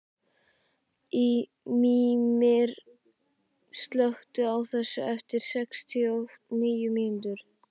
Mímir, slökktu á þessu eftir sextíu og níu mínútur.